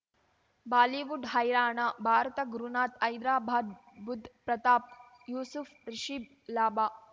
Bollywood ಹೈರಾಣ ಭಾರತ ಗುರುನಾಥ್ ಹೈದರಾಬಾದ್ ಬುಧ್ ಪ್ರತಾಪ್ ಯೂಸುಫ್ ರಿಷಿಬ್ ಲಾಭ